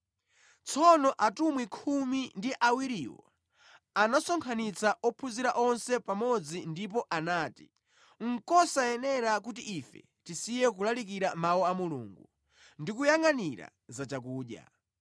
Tsono Atumwi khumi ndi awiriwo anasonkhanitsa ophunzira onse pamodzi ndipo anati, “Nʼkosayenera kuti ife tisiye kulalikira Mawu a Mulungu ndi kuyangʼanira za chakudya.